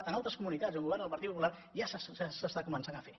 en altres comunitats on governa el partit popular ja s’està començant a fer